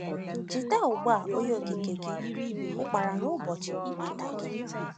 “Cheta ugbu a Onye Okike gị Ukpara n’ụbọchị nwata gị.”